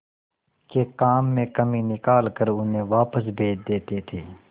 के काम में कमी निकाल कर उन्हें वापस भेज देते थे